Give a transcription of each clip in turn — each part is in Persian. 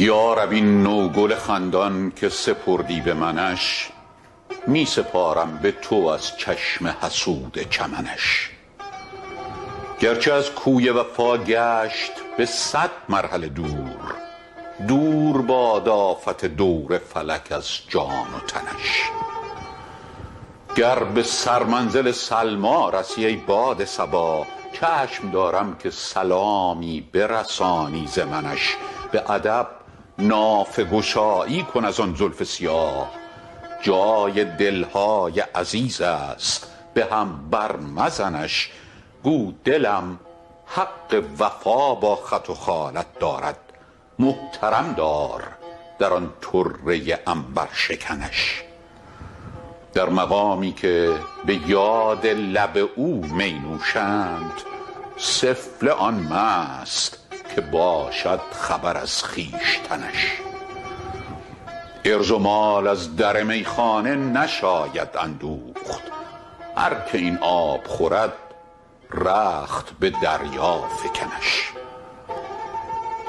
یا رب این نوگل خندان که سپردی به منش می سپارم به تو از چشم حسود چمنش گرچه از کوی وفا گشت به صد مرحله دور دور باد آفت دور فلک از جان و تنش گر به سرمنزل سلمی رسی ای باد صبا چشم دارم که سلامی برسانی ز منش به ادب نافه گشایی کن از آن زلف سیاه جای دل های عزیز است به هم بر مزنش گو دلم حق وفا با خط و خالت دارد محترم دار در آن طره عنبرشکنش در مقامی که به یاد لب او می نوشند سفله آن مست که باشد خبر از خویشتنش عرض و مال از در میخانه نشاید اندوخت هر که این آب خورد رخت به دریا فکنش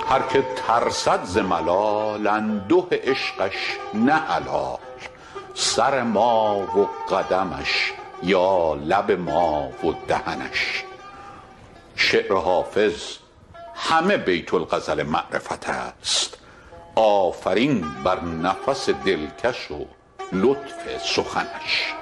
هر که ترسد ز ملال انده عشقش نه حلال سر ما و قدمش یا لب ما و دهنش شعر حافظ همه بیت الغزل معرفت است آفرین بر نفس دلکش و لطف سخنش